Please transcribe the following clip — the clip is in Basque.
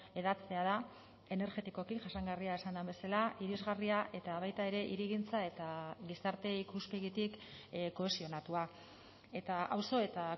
hedatzea da energetikoki jasangarria esan den bezala irisgarria eta baita ere hirigintza eta gizarte ikuspegitik kohesionatua eta auzo eta